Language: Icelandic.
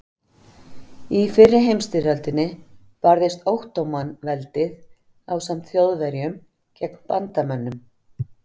Í fyrri heimstyrjöldinni barðist Ottóman-veldið ásamt Þjóðverjum gegn bandamönnum.